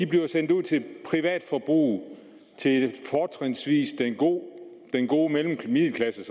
bliver sendt ud til privatforbrug fortrinsvis til den gode middelklasse